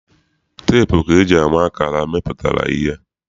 Teepu ka eji ama akara mmepụtara ihe.